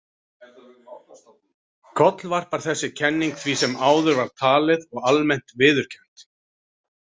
Kollvarpar þessi kenning því sem áður var talið og almennt viðurkennt.